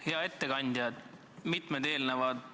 Hea ettekandja!